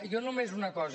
jo només una cosa